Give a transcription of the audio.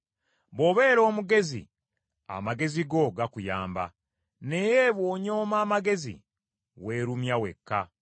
Bw’obeera omugezi, amagezi go gakuyamba, naye bw’onyooma amagezi weerumya wekka.”